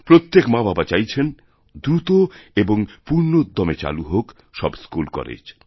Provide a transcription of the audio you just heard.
প্রত্যেক মাবাবাচাইছেন দ্রুত এবং পূর্ণোদ্যমে চালু হোক সব স্কুলকলেজ